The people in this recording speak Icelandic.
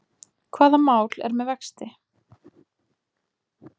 Hvaða mál er með vexti?